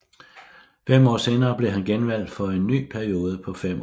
Fem år senere blev han genvalgt for en ny periode på fem år